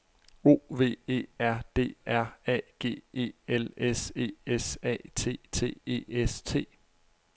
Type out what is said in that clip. O V E R D R A G E L S E S A T T E S T